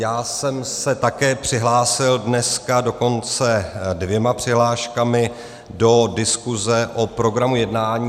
Já jsem se také přihlásil dneska, dokonce dvěma přihláškami, do diskuse o programu jednání.